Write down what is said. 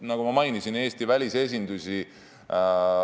Ma mainisin Eesti välisesindusi.